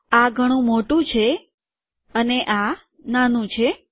આ ઘણું મોટું છે અને આ નાનું છે